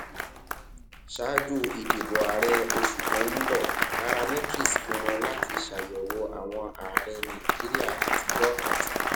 ṣáájú ìdìbò ààrẹ oṣù tó ń bọ nairametrics pinnu láti ṣàyẹwò àwọn ààrẹ nàìjíríà àtijó àti